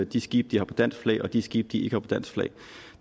de skibe de har på dansk flag og de skibe de ikke har på dansk flag